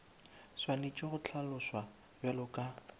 swanetše go hlaloswa bjalo ka